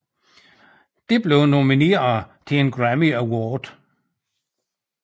Det blev nomineret til en Grammy Award